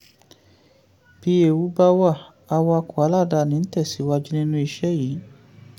bí ewu bá wà awakọ̀ aláàdáni ń tẹ̀síwájú nínú ìṣe yìí.